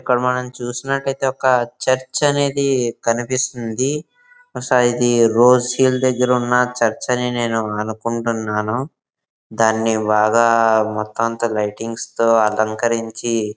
ఇక్కడ మనం చూసినట్టయితే ఒక చర్చ్ అనేది కనిపిస్తుంది. బహుశా ఇది రోజియర్ దగ్గర చర్చ్ అని నేను అనుకుంటున్నాను.దాన్ని బాగా మొత్తం అంత లైటింగ్స్ తో అలంకరించి--